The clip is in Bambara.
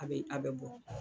A bɛ aw bɛ